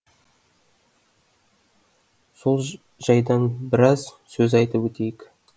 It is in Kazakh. сол жайдан біраз сөз айтып өтейік